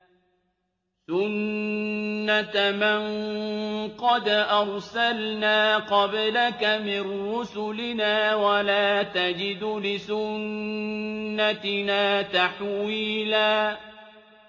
سُنَّةَ مَن قَدْ أَرْسَلْنَا قَبْلَكَ مِن رُّسُلِنَا ۖ وَلَا تَجِدُ لِسُنَّتِنَا تَحْوِيلًا